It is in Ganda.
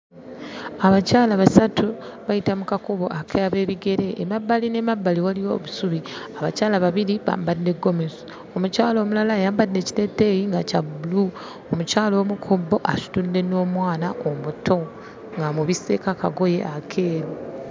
Abakyala basatu bayita mu kakubo ak'abeebigere. Emabbali n'emabbali waliyo obusubi. Abakyala babiri bambadde ggomesi, omukyala omulala ayambadde ekiteeteeyi nga kya bbulu, omukyala omu ku bo asitudde n'omwana omuto ng'amubisseeko akagoye akeeru.